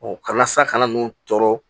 kalasa kana n'u tɔɔrɔ